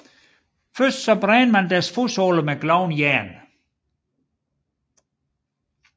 Først brændte man deres fodsåler med glødende jern